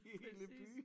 I hele byen